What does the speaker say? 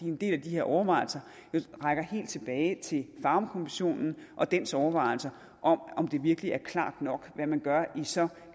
en del af de her overvejelser rækker helt tilbage til farum kommissionen og dens overvejelser om om det virkelig er klart nok hvad man gør i så